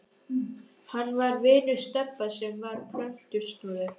Hann var vinur Stebba sem var plötusnúður.